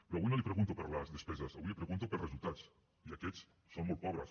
però avui no li pregunto per les despeses avui li pregunto pels resultats i aquests són molt pobres